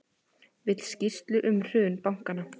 Vill skýrslu um hrun bankanna